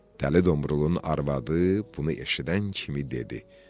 Dəli Domrulun arvadı bunu eşidən kimi dedi.